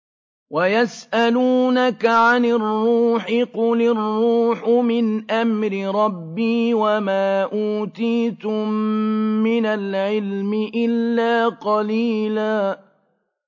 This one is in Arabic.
وَيَسْأَلُونَكَ عَنِ الرُّوحِ ۖ قُلِ الرُّوحُ مِنْ أَمْرِ رَبِّي وَمَا أُوتِيتُم مِّنَ الْعِلْمِ إِلَّا قَلِيلًا